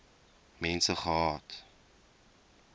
mense gehad